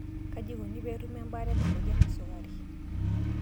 kaji ikoni pee etumi ebaare ena moyian e sukari?